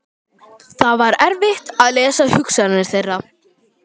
Það var erfitt að lesa hugsanir þeirra.